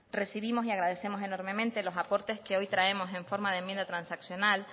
recibimos y agradecemos enormemente los aportes que hoy traemos en forma de enmienda transaccional